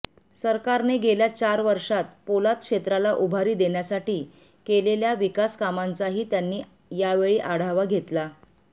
सरकारने गेल्या चार वर्षात पोलाद क्षेत्राला उभारी देण्यासाठी केलेल्या विकासकामांचाही त्यांनी यावेळी आढावा घेतला